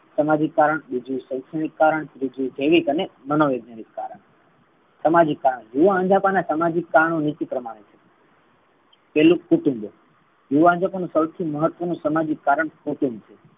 સામાજિક કારણ બીજું શૈક્ષણિક કારણ ત્રીજુ મનોવૈજ્ઞાનિક કારણ સામાજિક કારણ યુવા અંજપણ અને સામાજિક કારણ નીચે પ્રમાણે છે. પહેલું કુટુંબો યુવા અંજપણ નુ સૌથી સામાજિક કારણ કુટુંબ છે.